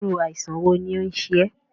Irú àìsàn wo ni ó ń ṣe ẹ́?